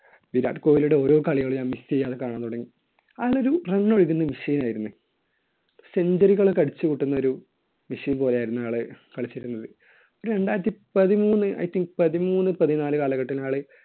വിരാട് കോഹ്ലിയുടെ ഓരോ കളികളും ഞാൻ miss ചെയ്യാതെ കാണാൻ തുടങ്ങി. അയാൾ ഒരു run ഒഴുകുന്ന machine ആയിരുന്നു. century കൾ ഒക്കെ അടിച്ചു കൂട്ടുന്ന ഒരു machine പോലെയായിരുന്നു അയാൾ കളിച്ചിരുന്നത്. രണ്ടായിരത്തി പതിമൂന്ന് I think പതിമൂന്ന് പതിനാല് കാലഘട്ടങ്ങളിൽ അയാള്